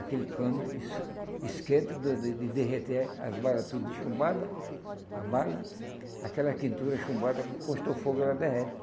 Aquele cano es esquenta de de derreter as balas todas chumbadas, a bala, aquela quentura chumbada, encostou fogo, ela derrete.